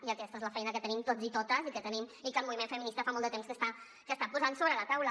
i aquesta és la feina que tenim tots i totes i que el moviment feminista fa molt de temps que està posant sobre la taula